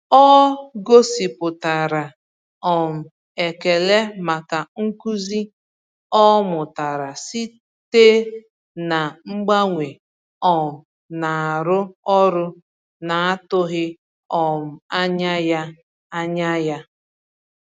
Ọ gosipụtara um ekele maka nkuzi ọ mụtara site na mgbanwe um na-arụ ọrụ na-atụghị um anya ya. anya ya.